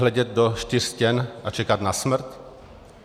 Hledět do čtyř stěn a čekat na smrt?